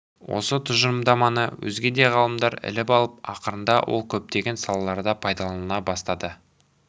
осы тұжырымдаманы өзге де ғалымдар іліп алып ақырында ол көптеген салаларда пайдаланыла бастады